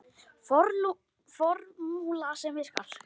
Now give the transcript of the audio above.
Formúla sem virkar.